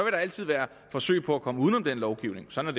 der altid være forsøg på at komme uden om den lovgivning sådan